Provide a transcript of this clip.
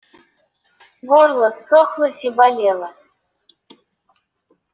горло ссохлось и болело